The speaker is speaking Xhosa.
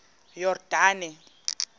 yordane